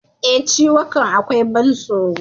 E, ciwukan akwai ban tsoro.